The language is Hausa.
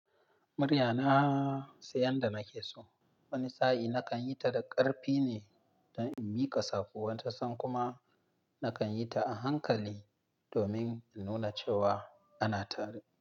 Muryana sai yadda nake so. Wani sa'i nakan yi ta da ƙarfi ne don in miƙa saƙo, wani tasan kuma nakan yi ta a hankali domin in nuna cewa anatare.